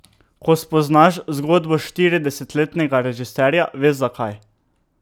Ko spoznaš zgodbo štiridesetletnega režiserja, veš, zakaj.